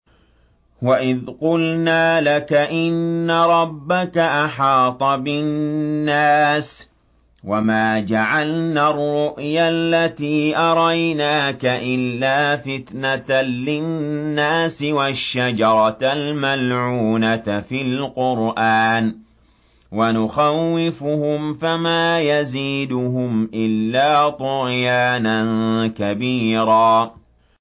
وَإِذْ قُلْنَا لَكَ إِنَّ رَبَّكَ أَحَاطَ بِالنَّاسِ ۚ وَمَا جَعَلْنَا الرُّؤْيَا الَّتِي أَرَيْنَاكَ إِلَّا فِتْنَةً لِّلنَّاسِ وَالشَّجَرَةَ الْمَلْعُونَةَ فِي الْقُرْآنِ ۚ وَنُخَوِّفُهُمْ فَمَا يَزِيدُهُمْ إِلَّا طُغْيَانًا كَبِيرًا